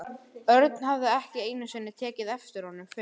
Örn hafði ekki einu sinni tekið eftir honum fyrr.